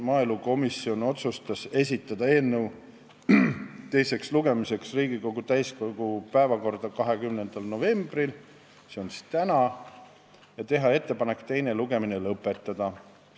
Maaelukomisjon otsustas esitada eelnõu teiseks lugemiseks Riigikogu täiskogu päevakorda 20. novembriks, s.o tänaseks, ja teha ettepaneku teine lugemine lõpetada.